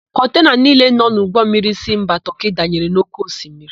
Kọntena niile nọ n'ụgbọmmiri si mba Tọọkị danyere na ókéosimiri.